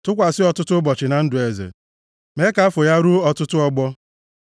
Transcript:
Tụkwasị ọtụtụ ụbọchị na ndụ eze, mee ka afọ ya ruo ọtụtụ ọgbọ.